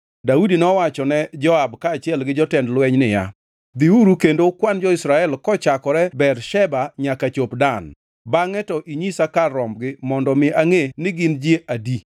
Daudi nowachone Joab kaachiel gi jotend jolweny niya, “Dhiuru kendo ukwan jo-Israel kochakore Bersheba nyaka chop Dan, bangʼe to inyisa kar rombgi mondo mi angʼe ni gin ji adi.”